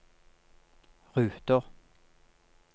ruter